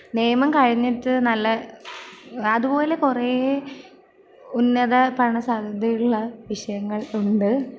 നിയമം കഴിഞ്ഞിട്ട് നല്ല...അതുപോല കുറേ...ഉന്നത പഠന സാധ്യതയുള്ള വിഷയങ്ങൾ ഉണ്ട്.